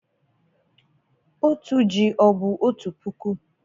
Otu ji o bu otu puku?